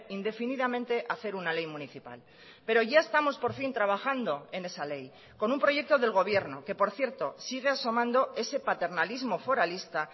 indefinidamente hacer una ley municipal pero ya estamos por fin trabajando en esa ley con un proyecto del gobierno que por cierto sigue asomando ese paternalismo foralista